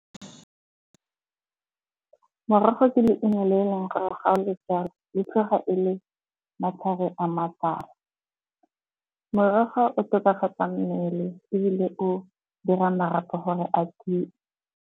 Merogo ke leungo le eleng gore ga o le jala le tlhoga e le matlhare a matala. Morogo o tokafatsa mmele ebile o dira marapo gore a tiye.